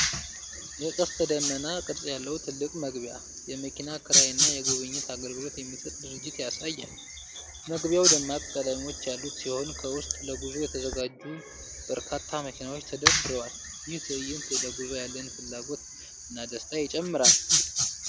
የቀስተ ደመና ቅርጽ ያለው ትልቅ መግቢያ፣ የመኪና ኪራይ እና የጉብኝት አገልግሎት የሚሰጥ ድርጅት ያሳያል። መግቢያው ደማቅ ቀለሞች ያሉት ሲሆን፣ ከውስጥ ለጉዞ የተዘጋጁ በርካታ መኪናዎች ተደርድረዋል። ይህ ትዕይንት ለጉዞ ያለን ፍላጎት እና ደስታ ይጨምራል።